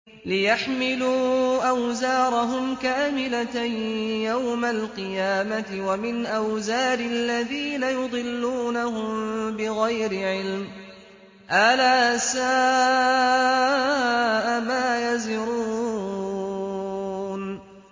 لِيَحْمِلُوا أَوْزَارَهُمْ كَامِلَةً يَوْمَ الْقِيَامَةِ ۙ وَمِنْ أَوْزَارِ الَّذِينَ يُضِلُّونَهُم بِغَيْرِ عِلْمٍ ۗ أَلَا سَاءَ مَا يَزِرُونَ